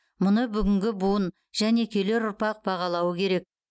мұны бүгінгі буын және келер ұрпақ бағалауы керек